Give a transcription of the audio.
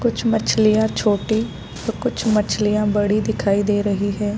कुछ मछलियाँ छोटी तो कुछ मछलियाँ बड़ी दिखाई दे रही है |